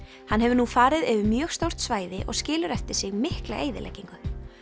hann hefur nú farið yfir mjög stórt svæði og skilur eftir sig mikla eyðileggingu